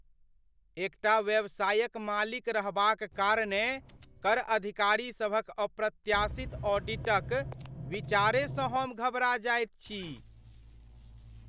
एकटा व्यवसायक मालिक रहबाक कारणेँ, कर अधिकारीसभक अप्रत्याशित ऑडिटक विचारेसँ हम घबरा जाइत छी।